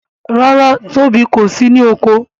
ràrá Tóbi kò sì ní oko.